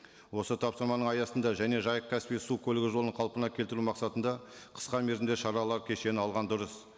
осы тапсырманың аясында және жайық каспий су көлігі жолын қалпына келтіру мақсатында қысқа мерзімде шаралар кешені алған дұрыс